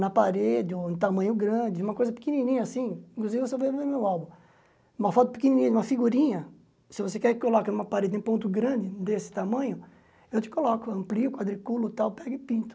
na parede, ou em tamanho grande, uma coisa pequenininha assim, inclusive você vai ver no meu álbum, uma foto pequenininha de uma figurinha, se você quer que coloque numa parede em ponto grande, desse tamanho, eu te coloco, amplio, quadriculo, tal, pego e pinto.